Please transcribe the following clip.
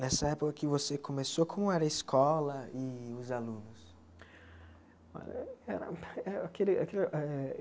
Nessa época que você começou, como era a escola e os alunos? Olha era aquele aquilo eh